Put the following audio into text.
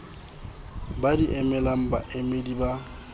ba di emelang baemedi ba